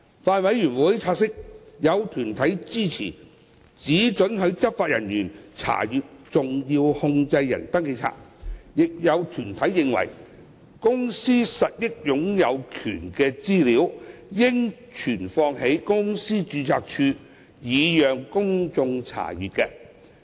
法案委員會察悉，有團體支持只准許執法人員查閱登記冊，但也有團體認為公司實益擁有權資料應存放在公司註冊處，以供公眾查閱。